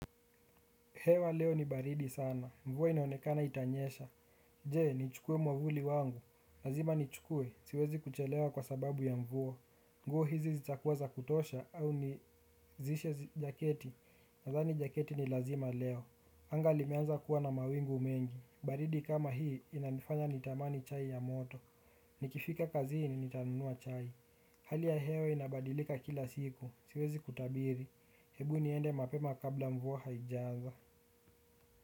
Hewa leo ni baridi sana. Mvua inaonekana itanyesha. Je, nichukue mwavuli wangu. Lazima ni chukue. Siwezi kuchelewa kwa sababu ya mvua. Nguo hizi zitakuwa za kutosha au nizishe jaketi. Nadhani jaketi ni lazima leo. Anga limeanza kuwa na mawingu mengi. Baridi kama hii inanifanya nitamani chai ya moto. Nikifika kazini nitanunua chai. Hali ya hewa inabadilika kila siku. Siwezi kutabiri. Hebu niende mapema kabla mvua haijanza.